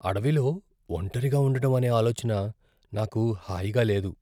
అడవిలో ఒంటరిగా ఉండడం అనే ఆలోచన నాకు హాయిగా లేదు.